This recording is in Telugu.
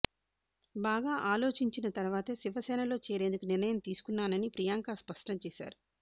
బాగా ఆలోచించిన తర్వాతే శివసేనలో చేరేందుకు నిర్ణయం తీసుకున్నానని ప్రియాంక స్పష్టం చేశారు